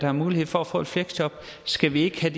har mulighed for at få et fleksjob skal vi ikke have